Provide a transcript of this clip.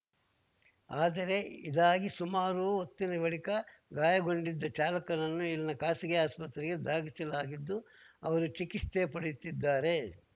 ಆದರೆ ಇದಾಗಿ ಸುಮಾರು ಹೊತ್ತಿನ ಬಳಿಕ ಗಾಯಗೊಂಡಿದ್ದ ಚಾಲಕನನ್ನು ಇಲ್ಲಿನ ಖಾಸಗಿ ಆಸ್ಪತ್ರೆಗೆ ದಾಖಿಸಲಾಗಿದ್ದು ಅವರು ಚಿಕಿತ್ಸೆ ಪಡೆಯುತ್ತಿದ್ದಾರೆ